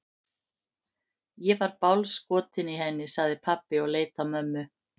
Ég er svo bálskotinn í henni, sagði pabbi og leit á mömmu.